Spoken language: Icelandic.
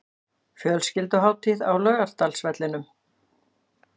Fjölskylduhátíð á Laugardalsvellinum